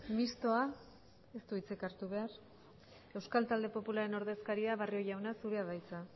mistoa ez du hitzik hartu behar euskal talde popularraren ordezkaria barrio jauna zurea da hitza